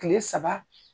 Kile saba